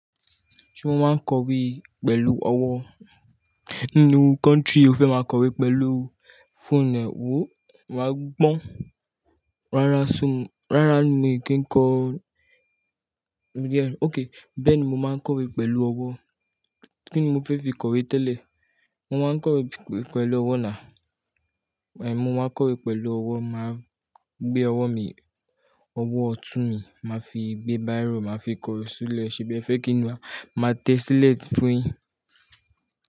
Ṣé wọ́n máa ń kọ̀wé pẹ̀lú ọwọ́ nínú country o fẹ́ máa kọ̀wé pẹ̀lú phone ẹ wo, wàá gbọ́n. Rárá ṣùn, rárá mi kì ń kọ Yeah, okay. Bẹ́ẹ̀ ni mo máa ń kọ̀wé pẹ̀lú ọwọ́, kíni mo fẹ́ fi kọ̀wé tẹ́lẹ̀? Mo máa ń kọ̀wé pẹ̀lú ọwọ́ nà. Èmi mo máa ń kọ̀wé pẹ̀lú ọwọ́, màá gbé ọwọ́ mi, ọwọ́ ọ̀tún mi màá fi gbé bírò, màá fi kọ ṣúlẹ̀, ṣèbí ẹ fẹ́ kí n wá, màá tẹ sílẹ̀ fún ìn?